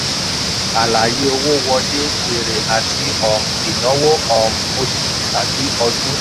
àlàyé owó wọlé èrè àti um ináwó um oṣù tàbí ọdún.